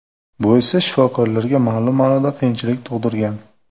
Bu esa shifokorlarga ma’lum ma’noda qiyinchilik tug‘dirgan.